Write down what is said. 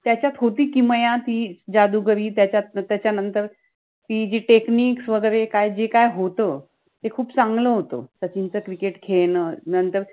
त्याच्यात होति ति किमया ति जादुगरि त्याच्यात त्याच्यानंतर ति जि techniques वगेरे काय जे काहि होत ते खूप चांगल होत सचिन च cricket खेळन नंतर